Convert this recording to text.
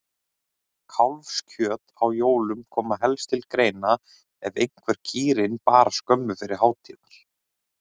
Kálfskjöt á jólum kom helst til greina ef einhver kýrin bar skömmu fyrir hátíðar.